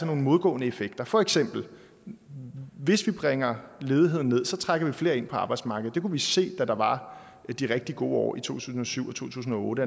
nogle modgående effekter for eksempel bringer ledigheden ned trækker vi flere ind på arbejdsmarkedet det kunne vi se da der var de rigtig gode tusind og syv og to tusind og otte